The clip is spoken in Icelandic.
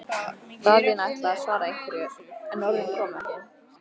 Daðína ætlaði að svara einhverju, en orðin komu ekki.